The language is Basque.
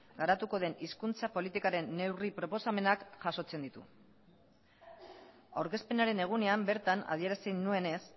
garatuko den hizkuntza politikaren neurri proposamenak jasotzen ditu aurkezpenaren egunean bertan adierazi nuenez